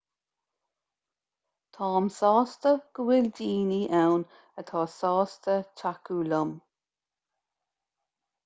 táim sásta go bhfuil daoine ann atá sásta tacú liom